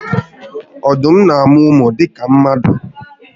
Odum na amu umu dika mmadu